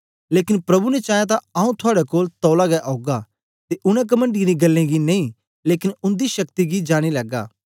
लेकन प्रभु ने चाया तां आऊँ थुआड़े कोल तौला गै औगा ते उनै कमणडीयें दी गल्लें गी नेई लेकन उन्दी शक्ति गी जानी लैगा